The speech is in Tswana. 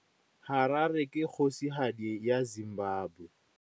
Harare ke kgosigadi ya Zimbabwe.